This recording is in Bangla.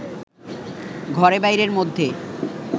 ঘরে-বাইরের মধ্যে